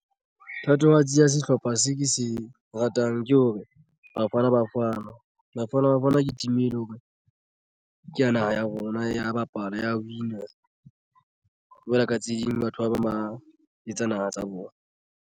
Thatohatsi ya sehlopha se ke se ratang ke hore Bafana Bafana. Bafana Bafana team e leng hore ke ya naha ya rona ya bapala ya win-a jwale ka tse ding batho ba bang ba etsa naha tsa bona.